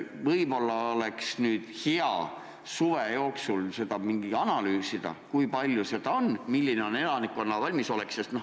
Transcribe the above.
Võib-olla oleks hea suve jooksul seda analüüsida, kui palju seda on ja milline on elanikkonna valmisolek.